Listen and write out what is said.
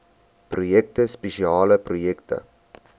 projekte spesiale projekte